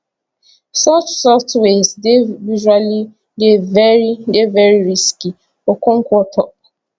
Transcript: such softwares dey usually dey very dey very risky okonkwo tok